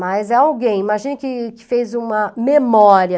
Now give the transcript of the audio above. Mas é alguém, imagina que que fez uma memória...